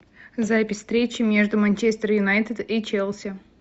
запись встречи между манчестер юнайтед и челси